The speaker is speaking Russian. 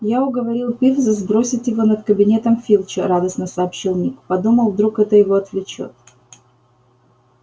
я уговорил пивза сбросить его над кабинетом филча радостно сообщил ник подумал вдруг это его отвлечёт